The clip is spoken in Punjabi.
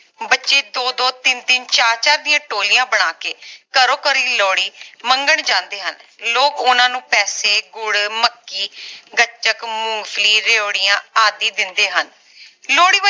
ਬੱਚੇ ਦੋ ਦੋ ਤਿੰਨ ਤਿੰਨ ਚਾਰ ਚਾਰ ਦੀਆਂ ਟੋਲੀਆਂ ਬਣਾ ਕੇ ਘਰੋਂ ਘਰਿ ਲੋਹੜੀ ਮੰਗਣ ਜਾਂਦੇ ਹਨ ਲੋਕ ਓਹਨਾ ਨੂੰ ਪੈਸੇ ਗੁੜ ਮੱਕੀ ਗੱਚਕ ਮੂੰਗਫਲੀ ਰੇਵੜੀਆਂ ਆਦਿ ਦਿੰਦੇ ਹਨ ਲੋਹੜੀ